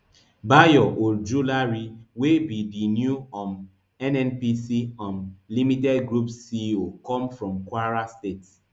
bayo ojulari wey be di new um nnpc um limited group ceo come from kwara state